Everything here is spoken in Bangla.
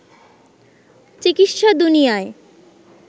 চিকিৎসা দুনিয়ায়